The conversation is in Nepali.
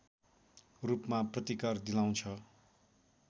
रूपमा प्रतिकर दिलाउँछ